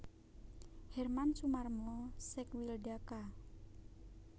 Herman Sumarmo Sekwilda Ka